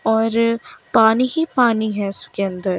और पानी ही पानी है इसके अंदर--